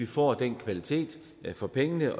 få den kvalitet for pengene